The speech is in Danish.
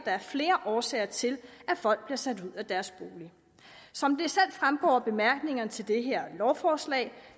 er flere årsager til at folk bliver sat ud af deres bolig som det fremgår af bemærkningerne til det her lovforslag